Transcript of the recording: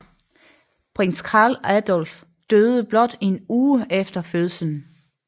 Prins Karl Adolf døde blot en uge efter fødslen